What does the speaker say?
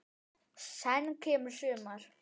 Senn kemur sumar.